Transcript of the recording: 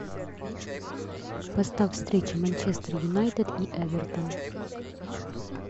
поставь встречу манчестер юнайтед и эвертон